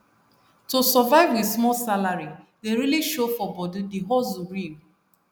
to survive with small salary dey really show for body the hustle real